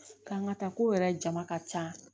K'an ka taa ko yɛrɛ jama ka ca